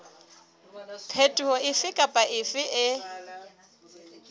phetoho efe kapa efe e